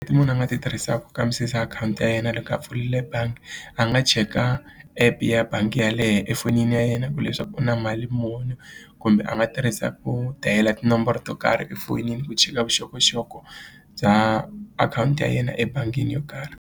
I munhu a nga ti tirhisaka ku kambisisa akhawunti ya yena loko a pfulile bangi a nga cheka app ya bangi yeleyo efonini ya yena ku leswaku u na mali muni kumbe a nga tirhisa ku dial tinomboro to karhi efonini ku cheka vuxokoxoko bya akhawunti ya yena ebangini yo karhi.